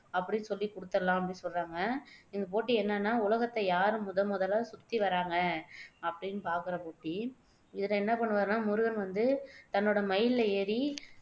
அப்படின்னு சொல்லி குடுத்துடலாம் அப்படின்னு சொல்லி சொல்றாங்க இந்த போட்டி என்னன்னா உலகத்தை யாரு முதன் முதலா சுத்தி வர்றாங்க அப்படின்னு பாக்குற போட்டி இதுக்கு என்ன பண்ணுவாருன்னா முருகன் வந்து தன்னோட மயில்ல ஏறி